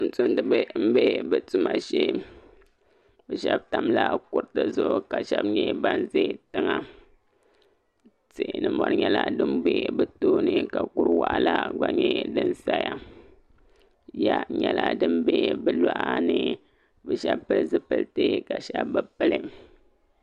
Tuun tumdi ba n bɛ be tuma shee. Be Sheba tamla kuriti zuɣu ka sheba nye ban ʒɛ tiŋa. Tihi ni mori nyela din bɛ be tooni ka kuri waɣ'la vba nye din saya. Ya nyala din bɛ be lɔɣa ni be sheba pil zipilti ka sheba be pili.